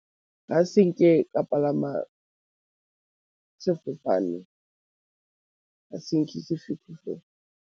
A se nke ka palama sefofane, ga se nke .